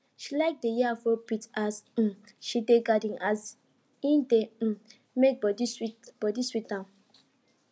she like dey hear afrobeat as um she dey garden as e dey um make body body sweet am